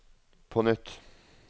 på nytt